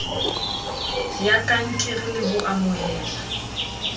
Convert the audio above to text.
ya kankere le ho amohelwa